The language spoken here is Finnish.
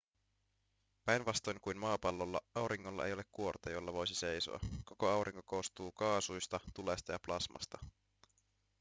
päinvastoin kuin maapallolla auringolla ei ole kuorta jolla voisi seisoa koko aurinko koostuu kaasuista tulesta ja plasmasta